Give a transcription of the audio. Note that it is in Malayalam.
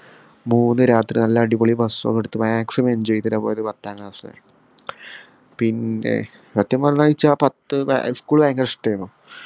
മൂന്നു രാത്രിയും നല്ല അടിപൊളി bus ഒക്കെ എടുത്ത് maximum enjoy ചെയ്തിട്ടാ പോയത് പത്താം class ന്ന് പിന്നെ സത്യം പറഞ്ഞ നിച് ആ പത്ത്‌ ഭ school ഭയങ്കര ഇഷ്ടായിര്ന്നു